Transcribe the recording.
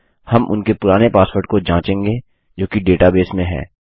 हम उनके पुराने पासवर्ड को जाँचेंगे जो कि डेटाबेस में है